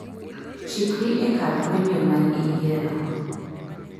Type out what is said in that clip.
chikri e kar redio ma iyiero